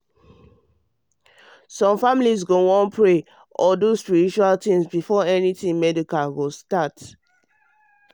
i mean say some families go wan wan pray or do spiritual things before anything medical.